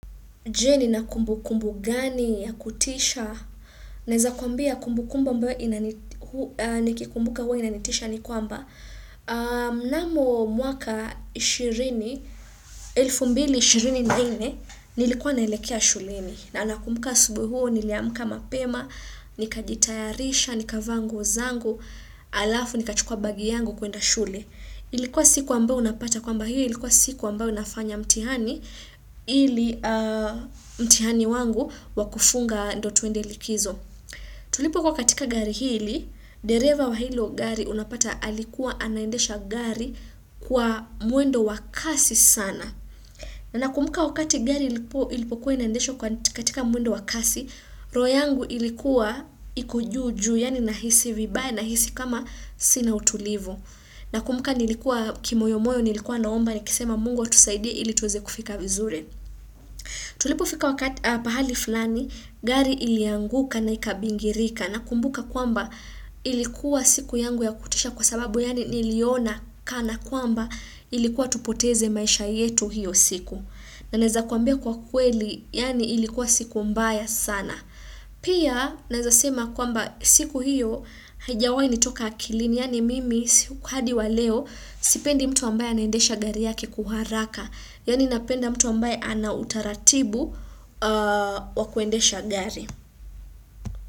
Je, nina kumbukumbu gani ya kutisha? Naeza kuambia kumbukumbu ambayo nikikumbuka huwa inanitisha ni kwamba Na'am mwaka 2024, nilikuwa naelekea shuleni. Na nakumbuka asubuhi, niliamuka mapema, nikajitayarisha, nikavaa nguo zangu, halafu nikachukua bagi yangu kuenda shule. Ilikuwa siku ambao unapata kwamba hiyo ilikuwa siku ambayo nafanya mtihani. Ili, mtihani wangu wa kufunga ndio twende likizo. Tulipokuwa katika gari hili, dereva wa hilo gari unapata alikuwa anaendesha gari kwa mwendo wa kasi sana. Nakumbuka wakati gari ilipokuwa inaendeshwa katika mwendo wa kasi, roho yangu ilikuwa iko juu juu, yani nahisi vibaya, nahisi kama sina utulivu. Nakumbuka nilikuwa, kimoyomoyo, nilikuwa naomba, nikisema Mungu atusaidie ili tuweze kufika vizuri. Tulipofika wakati, pahali fulani, gari ilianguka na ikabingirika, na kumbuka kwamba ilikuwa siku yangu ya kutisha kwa sababu, yani niliona kana kwamba ilikuwa tupoteze maisha yetu hiyo siku. Na naweza kuambia kwa kweli, yani ilikuwa siku mbaya sana. Pia, naweza sema kwamba siku hiyo, haijawai nitoka akilini, yaani mimi, hadi wa leo sipendi mtu ambaye anaendesha gari yake kwa uharaka, yani napenda mtu ambaye ana utaratibu wa kuendesha gari.